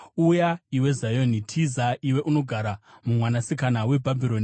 “Uya, iwe Zioni! Tiza, iwe unogara muMwanasikana weBhabhironi!”